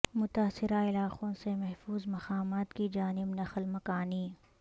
متاثرہ علاقوں سے محفوظ مقامات کی جانب نقل مکانی